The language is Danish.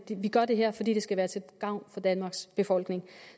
vi gør det her fordi det skal være til gavn for danmarks befolkning